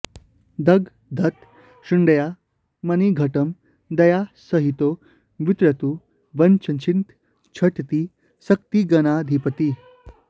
दधदथ शुण्डया मणिघटं दयितासहितो वितरतु वाञ्छितं झटिति शक्तिगणाधिपतिः